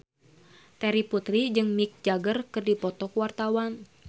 Terry Putri jeung Mick Jagger keur dipoto ku wartawan